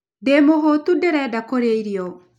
Ndĩ mũhũũtu, ndĩrenda kũrĩa irio.